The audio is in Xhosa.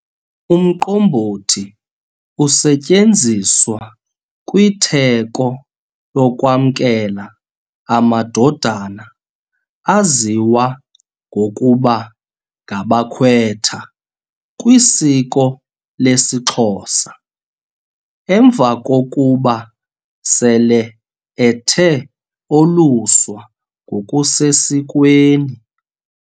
Umqombothi usetyenziswa kwitheko lokwamkela amadodana aziwa ngokuba ngabakwetha kwisiko lesiXhosa, emva kokuba sele ethe oluswa ngokusesikweni.